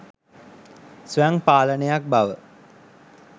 ස්වයං පාලනයක් බව